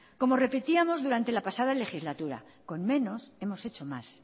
como repetíamos durante la pasada legislatura con menos hemos hecho más